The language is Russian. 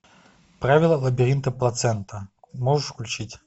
правила лабиринта плацента можешь включить